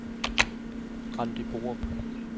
Randi Borup